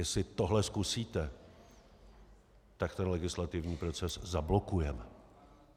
Jestli tohle zkusíte, tak ten legislativní proces zablokujeme.